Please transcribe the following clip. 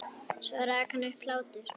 Svo rak hann upp hlátur.